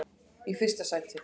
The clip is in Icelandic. í fyrsta sæti.